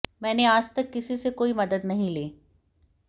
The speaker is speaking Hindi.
मैंने आज तक किसी से कोई मदद नहीं ली